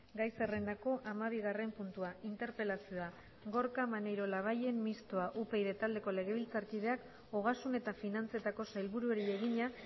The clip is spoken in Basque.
gai zerrendako hamabigarren puntua interpelazioa gorka maneiro labayen mistoa upyd taldeko legebiltzarkideak ogasun eta finantzetako sailburuari egina